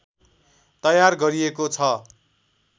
तयार गरिएको छ